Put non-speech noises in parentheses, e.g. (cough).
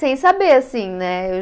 Sem saber, assim, né? (unintelligible)